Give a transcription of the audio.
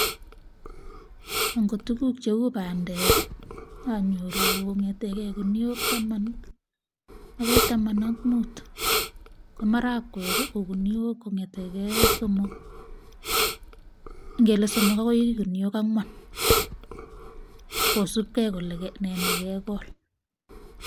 Angot tuguuk cheu bandek, anyooru kongetekee ginuok Taman. Akoi Taman ak mut, ko maragwek ko ginuok kongeteke somok, ingele somok bokoi ginuok angwan. Kosiibge kole nee nekekool